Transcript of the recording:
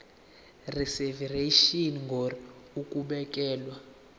reservation ngur ukubekelwa